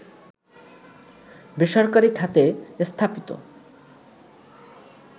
বেসরকারি খাতে স্থাপিত